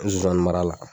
Zonzani mara la